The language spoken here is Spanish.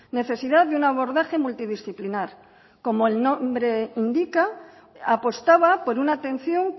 necesidad de un abordaje multidisciplinar como el nombre indica apostaba por una atención